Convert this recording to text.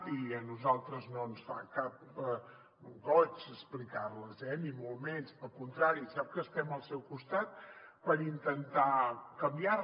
i a nosaltres no ens fa cap goig explicar les eh ni molt menys al contrari sap que estem al seu costat per intentar canviar les